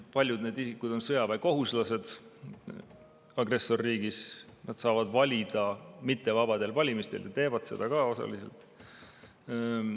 Paljud need isikud on sõjaväekohuslased agressorriigis, nad saavad valida mittevabadel valimistel ja teevad seda ka, vähemalt osa neist.